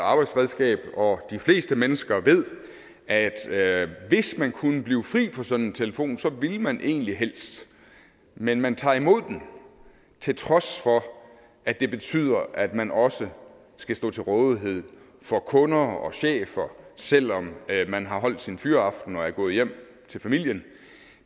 arbejdsredskab og de fleste mennesker ved at hvis man kunne blive fri for sådan en telefon så ville man egentlig helst det men man tager imod den til trods for at det betyder at man også skal stå til rådighed for kunder og chefer selv om man har holdt sin fyraften og er gået hjem til familien